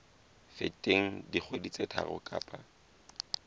feteng dikgwedi tse tharo kapa